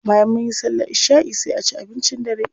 Bayan munyi sallar isha'i sai a ci abincin dare.